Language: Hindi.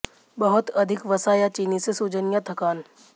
बहुत अधिक वसा या चीनी से सूजन या थकान